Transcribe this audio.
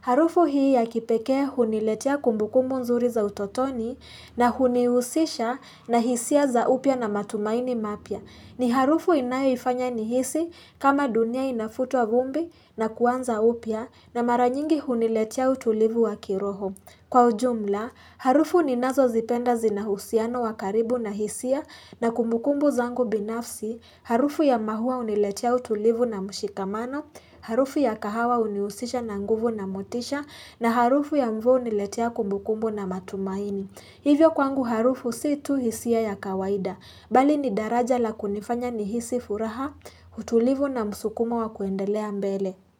Harufu hii ya kipekee huniletia kumbukumbu nzuri za utotoni na hunihusisha na hisia za upya na matumaini mapya. Ni harufu inayoifanya nihisi kama dunia inafutwa vumbi na kuanza upya na mara nyingi huniletea utulivu wa kiroho. Kwa ujumla, harufu ninazozipenda zina uhusiano wa karibu na hisia na kumbukumbu zangu binafsi. Harufu ya mahua huniletia utulivu na mshikamano. Harufu ya kahawa uniusisha na nguvu na motisha. Na harufu ya mvua uniletea kumbukumbu na matumaini. Hivyo kwangu harufu si tu hisia ya kawaida bali ni daraja la kunifanya nihisi furaha, utulivu na msukumo wa kuendelea mbele.